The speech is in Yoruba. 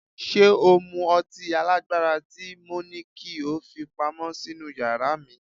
Ṣé o mú ọtí alágbára tí mo ní kí ó fi pamọ́ sínú yàrá mi?